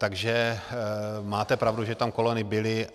Takže máte pravdu, že tam kolony byly.